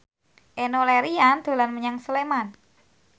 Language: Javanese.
Enno Lerian dolan menyang Sleman